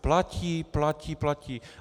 Platí, platí, platí!